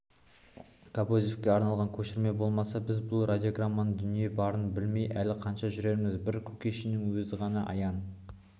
кобозевке арналған көшірме болмаса біз бұл радиограмманың дүниеде барын білмей әлі қанша жүреріміз бір кушекиннің өзіне ғана аян